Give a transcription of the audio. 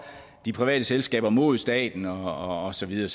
de private selskaber imod staten og så videre